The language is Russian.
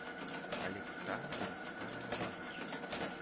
александр харунович